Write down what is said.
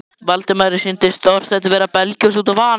Valdimari sýndist Þorsteinn vera að belgjast út af van